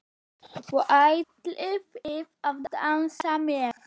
Og ætlið þið að dansa með?